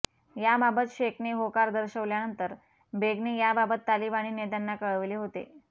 याबाबत शेखने होकार दर्शवल्यानंतर बेगने याबाबत तालिबानी नेत्यांना कळवले होते